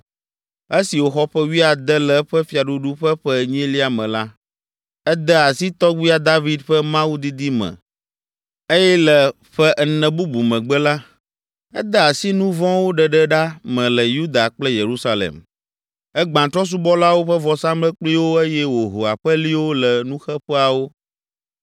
Esi wòxɔ ƒe wuiade le eƒe fiaɖuɖu ƒe ƒe enyilia me la, ede asi tɔgbuia David ƒe Mawu didi me eye le ƒe ene bubu megbe la, ede asi nu vɔ̃wo ɖeɖe ɖa me le Yuda kple Yerusalem. Egbã trɔ̃subɔlawo ƒe vɔsamlekpuiwo eye wòho aƒeliwo le nuxeƒeawo.